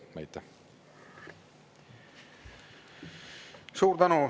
Suur tänu!